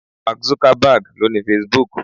Mark Zuckerberg lo ni Facebook.